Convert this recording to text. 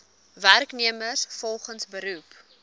werknemers volgens beroep